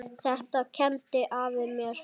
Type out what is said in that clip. Þetta kenndi afi mér.